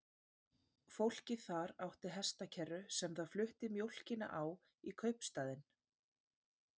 Fólkið þar átti hestakerru sem það flutti mjólkina á í kaupstaðinn.